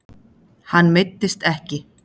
Hann meiddist ekki.